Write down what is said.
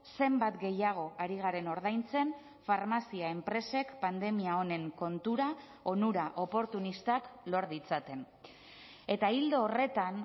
zenbat gehiago ari garen ordaintzen farmazia enpresek pandemia honen kontura onura oportunistak lor ditzaten eta ildo horretan